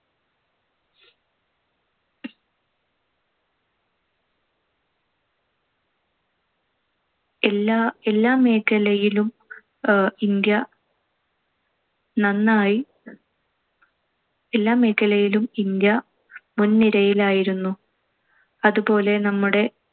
എല്ലാ~ എല്ലാ മേഖലയിലും അഹ് ഇന്ത്യ നന്നായി എല്ലാ മേഖലയിലും ഇന്ത്യ മുൻനിരയിൽ ആയിരുന്നു. അതുപോലെ നമ്മുടെ